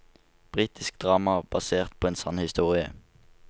Britisk drama basert på en sann historie.